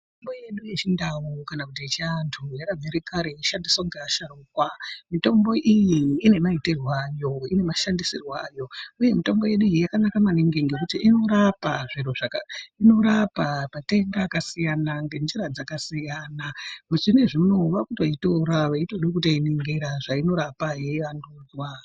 Mitombo yedu yechindau kana kuti yechiantu yakabvira kare yeishandiswa ngeasharukwa , mitombo iyi ine maitirwe ayo ine mashandisirwe ayo uye mitombo yedu iyi yakanaka maningi ngekuti inorapa matenda akasiyana ngenjira dzakasiyana zvinezvi unowu vakutoitora veitode kutoiningira zvainorapa yeivandurwa.